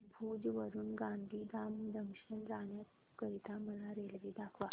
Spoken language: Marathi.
भुज वरून गांधीधाम जंक्शन जाण्या करीता मला रेल्वे दाखवा